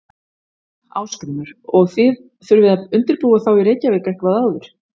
Ásgrímur: Og þið þurfið að undirbúa þá í Reykjavík eitthvað áður?